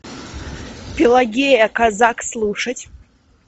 пелагея казак слушать